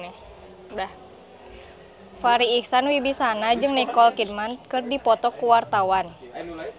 Farri Icksan Wibisana jeung Nicole Kidman keur dipoto ku wartawan